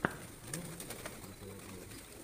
можешь включить крутые обзоры